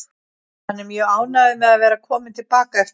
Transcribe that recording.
Hann er mjög ánægður með að vera kominn til baka eftir það.